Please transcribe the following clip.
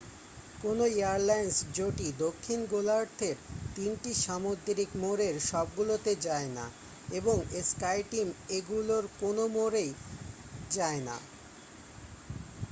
কোন এয়ারলাইন জোটই দক্ষিণ গোলার্ধের তিনটি সামুদ্রিক মোড়ের সবগুলোতে যায় না এবং স্কাইটিম এগুলোর কোন মোড়েই যায় না।